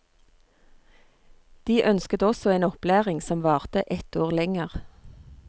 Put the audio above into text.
De ønsket også en opplæring som varte ett år lenger.